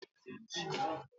Tọmọdé tàgbà ló ń dáná.